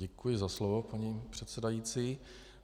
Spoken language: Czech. Děkuji za slovo, paní předsedající.